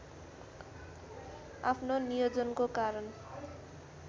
आफ्नो नियोजनको कारण